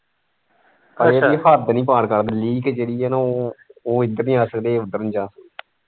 ਹੱਦ ਨਹੀਂ ਪਾਰ ਕਰਦੇ ਲੀਕ ਜਿਹੜੀ ਹੈ ਨਾ ਉਹ ਉਹ ਇੱਧਰ ਨਹੀਂ ਆ ਸਕਦੇ ਇਹ ਉੱਧਰ ਨਹੀਂ ਜਾ ਸਕਦੇ।